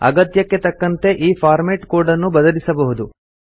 ಅಗತ್ಯಕ್ಕೆ ತಕ್ಕಂತೆ ಈ ಫಾರ್ಮೆಟ್ ಕೋಡ್ ಅನ್ನು ಬದಲಿಸಬಹುದು